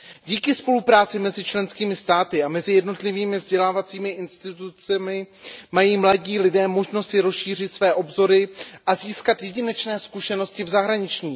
Díky spolupráci mezi členskými státy a mezi jednotlivými vzdělávacími institucemi mají mladí lidé možnost si rozšířit své obzory a získat jedinečné zkušenosti v zahraničí.